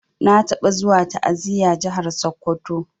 Na taba zuwa ta'aziya jahar sokoto.